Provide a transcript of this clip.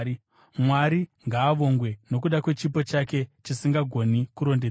Mwari ngaavongwe nokuda kwechipo chake chisingagoni kurondedzerwa!